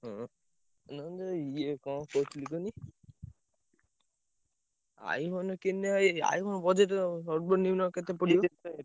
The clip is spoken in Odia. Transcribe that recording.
ଓହୋ ନା ମୁଁ ଏଇ କଣ କହୁଥିଲି କୁହନି iPhone କିଣିଲେ ଭାଇ iPhone budget ସର୍ବନିମ୍ନ କେତେ ପଡିବ?